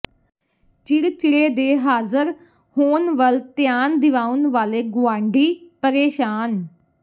ਚਿੜਚਿੜੇ ਦੇ ਹਾਜ਼ਰ ਹੋਣ ਵੱਲ ਧਿਆਨ ਦਿਵਾਉਣ ਵਾਲੇ ਗੁਆਂਢੀ ਪਰੇਸ਼ਾਨ